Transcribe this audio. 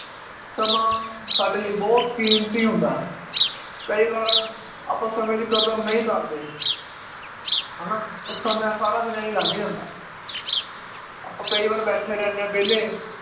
ਸਮਾਂ ਸਾਡੇ ਲਈ ਬਹੁਤ ਕੀਮਤੀ ਹੁੰਦਾ ਕਈ ਵਾਰ ਆਪਾਂ ਸਮੇ ਦੀ ਕਦਰ ਨਈ ਕਰਦੇ ਹ ਨਾ? ਮੈ ਸਾਰਾ ਦਿਨ ਏਂ ਈ ਲੰਘ ਜਾਂਦਾ ਆਪਾਂ ਕਈ ਵਾਰ ਬੈਠੇ ਰਹਿੰਨੇ ਆ ਵੇਲ਼ੇ